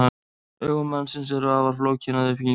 Augu mannsins eru afar flókin að uppbyggingu.